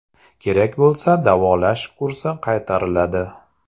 Kerak bo‘lsa davolash kursi qaytariladi.